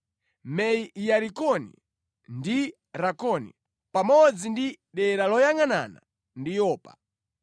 Me-Yarikoni ndi Rakoni, pamodzi ndi dera loyangʼanana ndi Yopa.